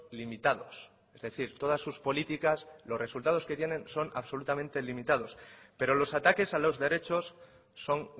limitados es decir todas sus políticas los resultados que tiene son absolutamente limitados pero los ataques a los derechos son